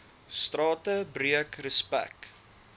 strate breek respek